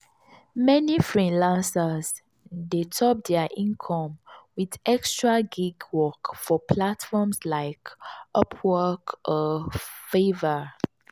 meni freelancers dey top dia income with extra gig work for platforms like upwork or fiverr.